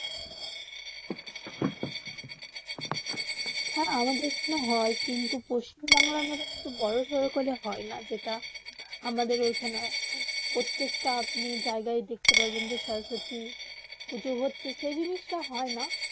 হেঁ আমাদের এখানে হয়ে কিন্তু পশ্চিম বাংলা তে মতুন বোরো সরো করে হয়ে না যেটা আমাদের এখানে প্রত্যেকটা আপনি জায়গা দেখতে পারবেন যে সরস্বতী পুজো হচ্ছে সেই জিনিস তা হয়ে না